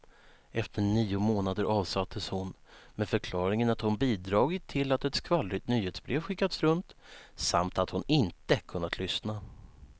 Efter nio månader avsattes hon med förklaringen att hon bidragit till att ett skvallrigt nyhetsbrev skickats runt, samt att hon inte kunnat lyssna.